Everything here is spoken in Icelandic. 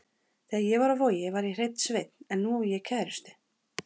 Þegar ég var á Vogi var ég hreinn sveinn en nú á ég kærustu.